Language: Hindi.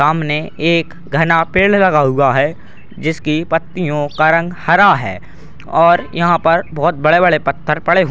सामने एक घना पेड़ लगा हुआ है जिसकी पत्तियां का रंग हरा है और यहां पर बड़े-बड़े पत्थर पड़े हु --